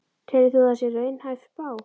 Telur þú að það sé raunhæf spá?